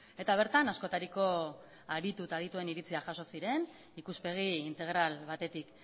eta bertan askotariko aritu eta adituen iritziak jaso ziren ikuspegi integral batetik